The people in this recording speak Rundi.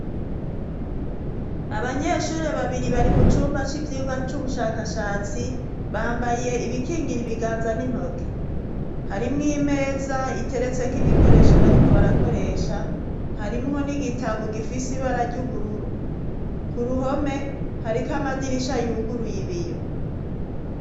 Abanyeshuri babiri bari mu cumba c'ivyirwa c'ubushakashatsi bambaye ibikingira ibiganza n'intoke harimwo imeza iteretseko ibikoresho bariko barakoresha harimwo n'igitabo gifise ibara ry'ubururu ku ruhome hariko amadirisha yuguruye ibiyo.